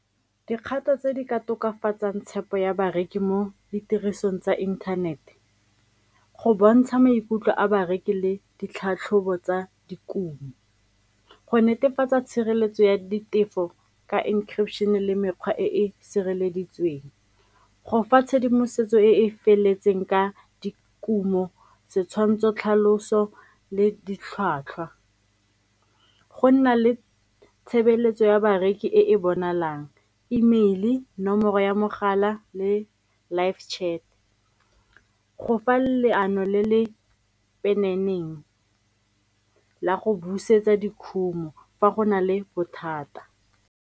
Dikgato tse di ka tokafatsang tshepo ya bareki mo ditirisong tsa inthanete, go bontsha maikutlo a bareki le ditlhatlhobo tsa dikumo, go netefatsa tshireletso ya ditefo ka encryption le mekgwa e e sireleditsweng, go fa tshedimosetso e e feletseng ka dikumo setshwantsho tlhaloso le ditlhwatlhwa, go nna le tshebeletso ya bareki e e bonalang E-mail-e, nomoro ya mogala le live chat, go fa leano le le la go busetsa dikhumo fa go na le bothata.